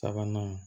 Sabanan